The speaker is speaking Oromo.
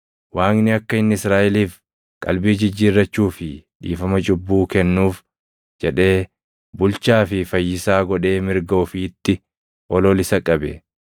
Waaqni akka inni Israaʼeliif qalbii jijjiirrachuu fi dhiifama cubbuu kennuuf jedhee bulchaa fi Fayyisaa godhee mirga ofiitti ol ol isa qabe.